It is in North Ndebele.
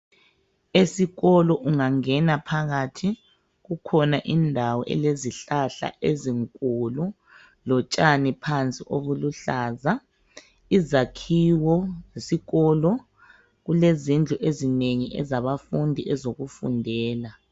Esikolo ungangena phakathi kukhona indawo elezihlahla ezinkulu lotshani phansi obuluhlaza. Izakhiwo zesikolo kulezindlu ezinengi ezabafundi ezokufundela.